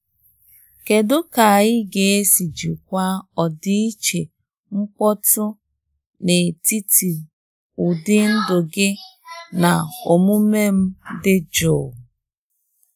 Kedu ka anyị ga-esi jikwaa ọdịiche mkpọtụ n'etiti ụdị ndụ gị na omume m dị jụụ?